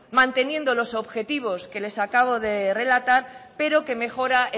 manteniendo los objetivos que les acabo de relatar pero que mejora